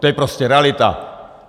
To je prostě realita.